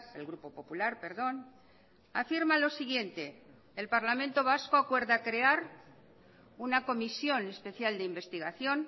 el grupo popular perdón afirmalo siguiente el parlamento vasco acuerda crear una comisión especial de investigación